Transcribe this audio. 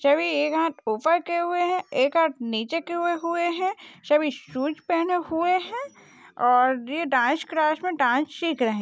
सभी एक हात उपर किए हुए है एक हात नीचे किए हुए है सभी शूज पहने हुए है और ए डान्स क्लास मे डान्स सीख रहे--